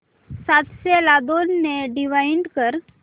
सातशे ला दोन ने डिवाइड कर